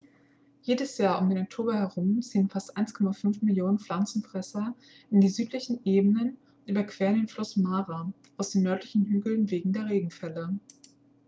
jedes jahr um den oktober herum ziehen fast 1,5 millionen pflanzenfresser in die südlichen ebenen und überqueren den fluss mara aus den nördlichen hügeln wegen der regenfälle